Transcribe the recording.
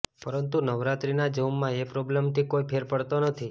પરંતુ નવરાત્રીના જોમમાં એ પ્રોબ્લેમથી કોઇ ફેર પડતો નથી